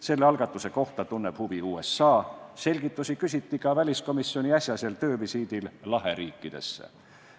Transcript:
Selle algatuse kohta tunneb huvi USA, selgitusi küsiti ka väliskomisjoni äsja tehtud töövisiidil Laheriikidesse.